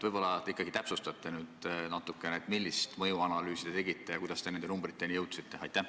Võib-olla te ikkagi täpsustate natukene, millist mõjuanalüüsi te tegite ja kuidas te nende numbriteni jõudsite?